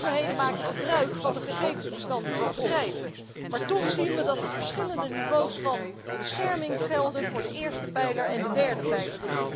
Overheden maken gebruik van de gegevensbestanden van bedrijven maar toch zien we dat er verschillende niveaus van bescherming gelden voor de eerste pijler en de derde pijler.